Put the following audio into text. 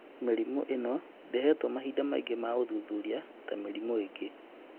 Mĩrimũ ĩno ndĩhetwo mahinda maingĩ ma ũthuthuria ta mĩrimũ ĩngĩ